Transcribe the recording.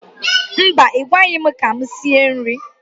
Mba, I gwaghi m ka m sie nri.